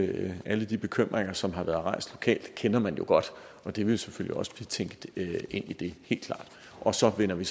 det alle de bekymringer som har været rejst lokalt kender man jo godt og de vil selvfølgelig også blive tænkt ind i det helt klart og så vender vi